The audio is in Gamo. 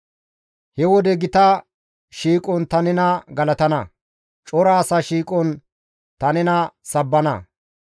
He wode gita shiiqon ta nena galatana; cora asa shiiqon ta nena sabbana.